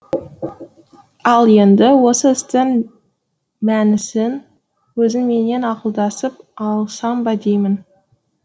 ал енді осы істің мәнісін өзіңменен ақылдасып алсам ба деймін